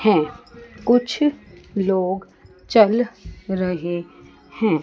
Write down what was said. है कुछ लोग चल रहे हैं।